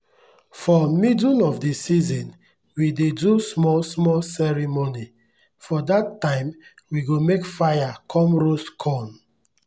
for middle of the season we dey do small-small ceremony. for that time we go make fire come roast corn.